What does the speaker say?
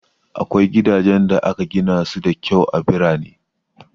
Akwai gidajen da aka gina su da kyau a birane.